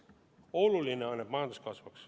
Oluline on, et majandus kasvaks.